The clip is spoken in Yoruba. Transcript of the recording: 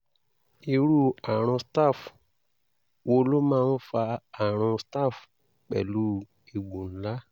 irú àrùn staph wo ló máa ń fa àrùn staph pẹ̀lú egbò ńlá?